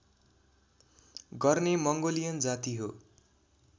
गर्ने मङ्गोलियन जाति हो